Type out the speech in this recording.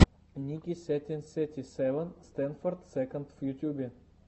ники сетин сети севен стэндофф сэконд в ютубе